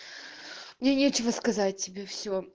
мне нечего сказать тебе всё